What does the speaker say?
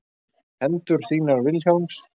Hendur þínar Vilhjálms.